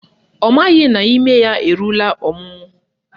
Ọ maghị na ime ya eruola ọmụmụ